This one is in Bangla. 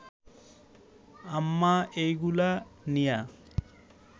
আম্মা এইগুলা নিয়া